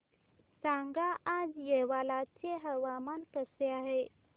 सांगा आज येवला चे हवामान कसे आहे